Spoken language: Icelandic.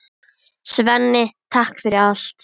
Svenni, takk fyrir allt.